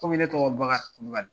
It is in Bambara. Kɔmi ne tɔgɔ ye Bakary Kulubaly